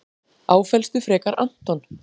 Áfellstu frekar Anton.